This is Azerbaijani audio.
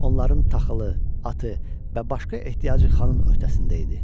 Onların taxılı, atı və başqa ehtiyacı xanın öhtəsində idi.